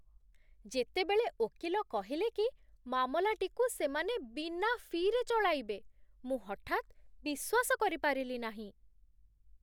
ଯେତେବେଳେ ଓକିଲ କହିଲେ କି ମାମଲାଟିକୁ ସେମାନେ ବିନା ଫି'ରେ ଚଳାଇବେ, ମୁଁ ହଠାତ୍ ବିଶ୍ୱାସ କରିପାରିଲି ନାହିଁ !